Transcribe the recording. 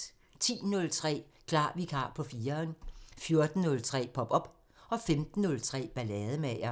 10:03: Klar Vikar på 4'eren 14:03: Pop op 15:03: Ballademager